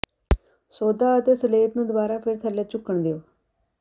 ਸੋਦਾ ਅਤੇ ਸਲੇਡ ਨੂੰ ਦੁਬਾਰਾ ਫਿਰ ਥੱਲੇ ਝੁਕਣ ਦਿਉ